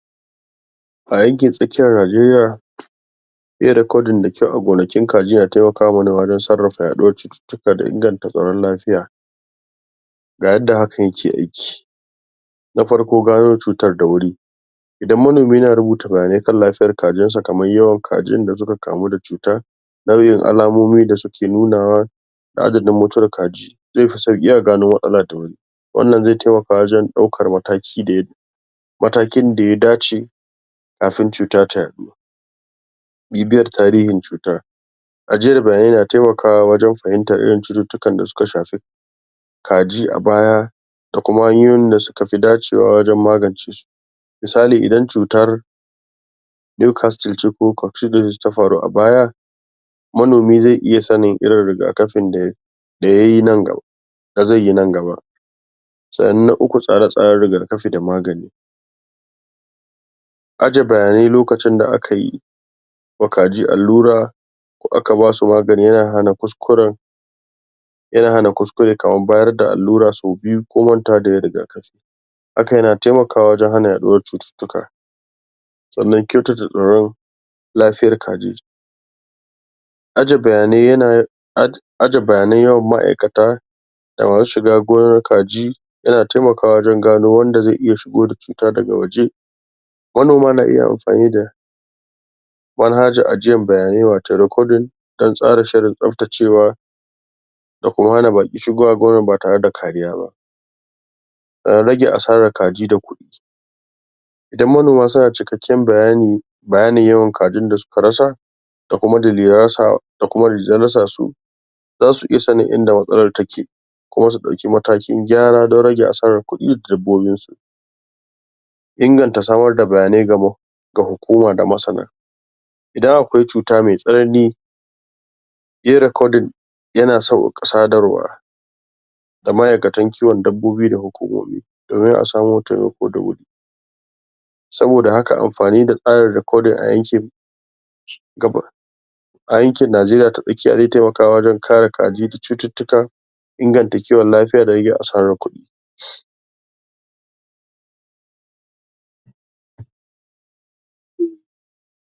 A yankin tsakiyar Najeriya Yin rakodin da kyau a gonakin kaji na taimakawa manoma wajen sarrafa yaɗuwar cututtuka da inganta tsaron lafiya. ga yadda hakan yake aiki. Na farko gano cutar dawuri Idan manomi na rubuta bayanai kan lafiyar kajinsa kamar yawan kajin da suka kamu da cuta Nau'in alamomin da suke nunawa. adadin mutuwar kaji, zai fi sauƙi a gano matsalar da wuri. wannan zai taimaka wajen ɗaukar mataki da ya matakin da ya dace kafin cuta ta yaɗu. Bibiyar tarihin cutar. Ajiyar bayanai na taimakawa wajen fahimtar irin cututtukan da suka shafi kaji a baya da kuma hanyoyin da suka fi dacewa wajen magance su. misali idan cutar, ta faru a baya manomi zai iya sanin irin riga kafin da da ya yi na da zai yi nan gaba Sannan na uku tsare-tsaren riga kafi da magani Aje bayanai lokacin da aka yi wa kaji allura ko aka ba su magani yana hana kuskuren Yana hana kuskure kamar bayar da allura sau biyu ko mantawa da yin riga kafi. Haka yana taimakawa wajen hana yaɗuwar cututtuka sannan kyautata tsaron lafiyar kaji Aje bayanai yana um Aje bayanan yawan ma'aikata da masu shiga gonar kaji Yana taimakawa wajen gano wanda zai iya shigo da cuta daga waje. Manoma na iya amfani da Manhajar ajiyar bayanai wato "recording" don tsara shirin tsabtacewa da kuma hana baƙi shigowa gonar ba tare da kariya ba. Rage asarar kaji da kuɗi. Idan manoma suna da cikakken bayani bayanin yawan kajin da suka rasa da kuma dalilan rasawa, da kuma dalilan rasa su. za su iya sanin in da matsalar take kuma su ɗauki matakin gyara don rage asarar kuɗi da dabbobinsu. Inganta samar da bayanai ga hukuma da madasana. Idan akwai cuta mai tsanani yin "recording" yana sauƙaƙa sadarwa ga ma'aikatan kiwon dabbobi da hukumomi. domin a samo taimako da wuri. Saboda haka amfani da tsarin recording a yankin ci gaba A yankin Najeriya ta tsakiya zai taimaka wajen kare kaji da cututtukan inganta kiwon lafiya da rage asarar kuɗi.